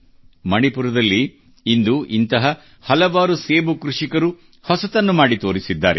ಮಣಿಪುರದಲ್ಲಿ ಇಂದು ಇಂಥ ಹಲವಾರು ಸೇಬು ಕೃಷಿಕರು ಹೊಸತನ್ನು ಮಾಡಿ ತೋರಿಸಿದ್ದಾರೆ